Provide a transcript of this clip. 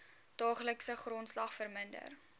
daaglikse grondslag verminder